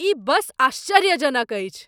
ई बस आश्चर्यजनक अछि!